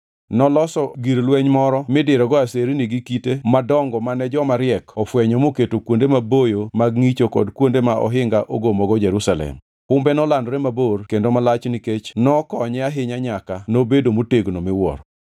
Noloso gir lweny moro midirogo aserni gi kite madongo mane joma riek ofwenyo moketo kuonde maboyo mag ngʼicho kod kuonde ma ohinga ogomogo Jerusalem. Humbe nolandore mabor kendo malach nikech nokonye ahinya nyaka nobedo motegno miwuoro.